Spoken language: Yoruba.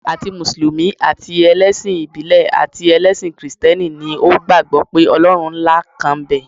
Àti mùsùlùmí, àti ẹlẹ́sìn ìbílẹ̀ àti ẹlẹ́sìn kìrìsìtẹ́nì ni ó gbàgbọ́ pé Ọlọ́run ńlá kan ń bẹ.